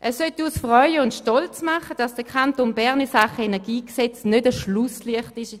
Es würde uns freuen und stolz machen, wenn der Kanton Bern in Sachen Energiegesetz unter den Kantonen kein Schlusslicht ist.